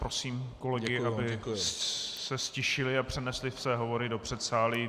Prosím kolegy, aby se ztišili a přenesli své hovory co předsálí.